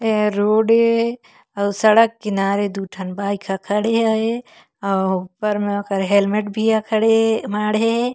ये हा रोड ए आऊ सड़क किनारे दो ठन बाइक हा खड़े हे आऊ ऊपर म ओकर हेलमेट भी हा खड़े हे माँढहे हे।